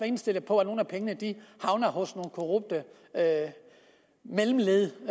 indstillet på at nogle af pengene havner hos nogle korrupte mellemled i